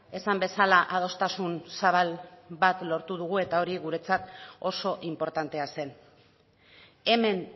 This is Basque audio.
esan bezala adostasun zabal bat lortu dugu eta hori guretzat oso inportantea zen hemen